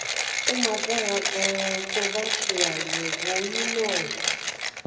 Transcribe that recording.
ó máa dára gan-an tó o bá ṣe àyẹ̀wò ọyún náà